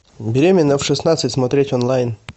беременна в шестнадцать смотреть онлайн